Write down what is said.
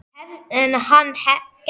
En hann gefst upp.